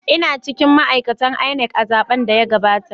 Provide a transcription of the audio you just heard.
Ina cikin ma’aikatan INEC a zaben da ya gabata.